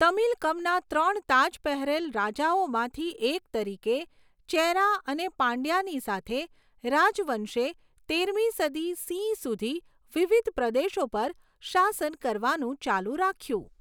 તમિલકમના ત્રણ તાજ પહેરેલ રાજાઓમાંથી એક તરીકે ચેરા અને પાંડયાની સાથે, રાજવંશે તેરમી સદી સીઈ સુધી વિવિધ પ્રદેશો પર શાસન કરવાનું ચાલુ રાખ્યું.